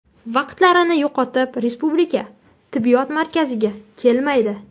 Vaqtlarini yo‘qotib respublika tibbiyot markazlariga kelmaydi.